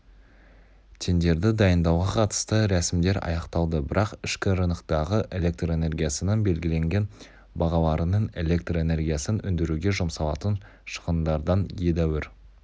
тендерді дайындауға қытысты рсімдер аяқталды бірақ ішкі рыноктағы электр энергиясының белгіленген бағаларының электр энергиясын өндіруге жұмсалатын шығындардан едәуір